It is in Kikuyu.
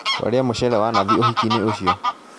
Twarĩa mũcere wa nathi ũhiki-inĩ ũcio